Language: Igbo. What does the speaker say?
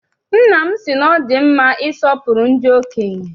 Nna m sị na ọ dị mma isọpụrụ ndị okenye.